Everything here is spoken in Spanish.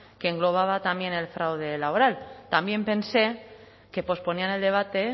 que engloba también el fraude laboral también pensé que posponían el debate